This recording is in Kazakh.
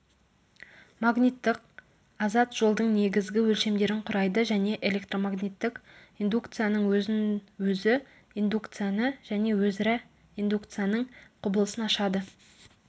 магниттік азат жолдың негізгі өлшемдерін құрайды және электромагниттік индукцияның өзін-өзі индукцияны және өзара индукцияның құбылысын ашады